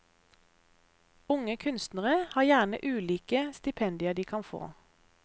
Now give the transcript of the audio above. Unge kunstnere har gjerne ulike stipendier de kan få.